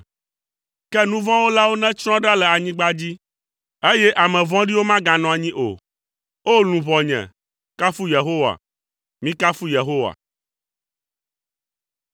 Ke nu vɔ̃ wɔlawo netsrɔ̃ ɖa le anyigba dzi, eye ame vɔ̃ɖiwo maganɔ anyi o. O! Luʋɔnye, kafu Yehowa. Mikafu Yehowa.